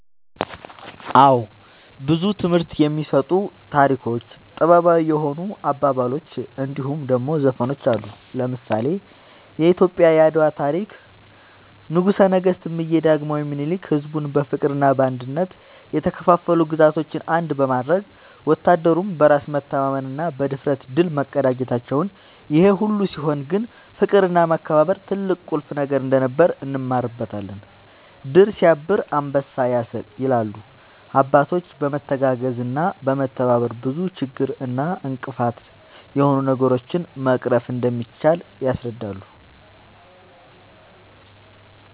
አወ ብዙ ትምህርት የሚሰጡ ታሪኮች ጥበባዊ የሆኑ አባባሎች እንድሁም ደሞ ዘፈኖች አሉ። ለምሳሌ :-የኢትዮጵያ የአድዋ ታሪክ ንጉሰ ነገስት እምዬ ዳግማዊ ምኒልክ ሕዝቡን በፍቅርና በአንድነት የተከፋፈሉ ግዛቶችን አንድ በማድረግ ወታደሩም በራስ መተማመንና ብድፍረት ድል መቀዳጀታቸውን ይሄ ሁሉ ሲሆን ግን ፍቅርና መከባበር ትልቅና ቁልፍ ነገር እንደነበር እንማርበታለን # "ድር ስያብር አንበሳ ያስር" ይላሉ አባቶች በመተጋገዝና በመተባበር ብዙ ችግር እና እንቅፋት የሆኑ ነገሮችን መቅረፍ እንደሚቻል ያስረዳሉ